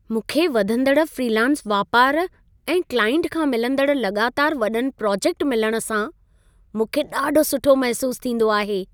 मूंखे वधंदड़ फ्रीलांस वापार ऐं क्लाइंट खां मिलंदड़ लॻातार वॾनि प्रोजेक्ट मिलण सां मूंखे ॾाढो सुठो महिसूस थींदो आहे।